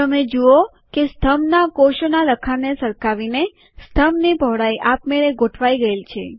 તમે જુઓ કે સ્તંભના કોષોનાં લખાણને સરખાવીને સ્તંભની પહોળાઈ આપમેળે ગોઠવાય ગયેલ છે